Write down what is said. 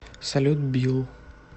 салют билл